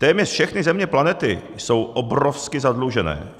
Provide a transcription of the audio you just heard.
Téměř všechny země planety jsou obrovsky zadlužené.